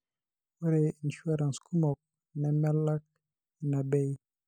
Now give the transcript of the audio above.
ore insurance kumok nemelak ina bei.